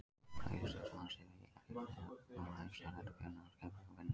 Fræðistörf hans ein mega heita fullkomið ævistarf, enda kunni hann að skipuleggja vinnu sína.